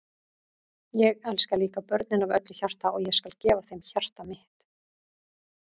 Ég elska líka börnin af öllu hjarta og ég skal gefa þeim hjarta mitt.